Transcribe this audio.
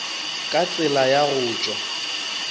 ka tsela ya go tšwa